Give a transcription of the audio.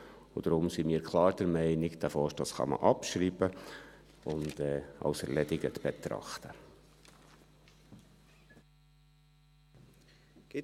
Deshalb sind wir ganz klar der Meinung, dass der Vorstoss abgeschrieben und als erledigt betrachtet werden kann.